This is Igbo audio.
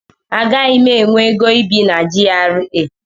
Agaghị m enwe ego ibi na GRA.